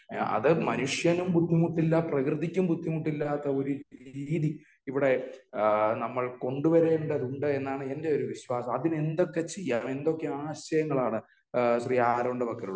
അത് മനുഷ്യനും ബുദ്ധിമുട്ടില്ല പ്രകൃതിക്കും ബുദ്ധിമുട്ടില്ലാത്ത ഒരു രീതി ഇവിടെ നമ്മൾ കൊണ്ട് വരേണ്ടത് ഉണ്ട് എന്നാണ് എന്റെ ഒരു വിശ്വാസം. അതിനു എന്തൊക്കെ ചെയ്യാം എന്തൊക്കെ ആശയങ്ങളാണ് ശ്രീ ആറോണിന്റെ പക്കലുള്ളത് ?